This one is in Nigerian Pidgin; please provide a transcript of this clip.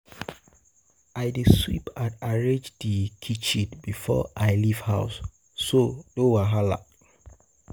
I dey sweep and arrange di um kitchen before I leave house, so no wahala.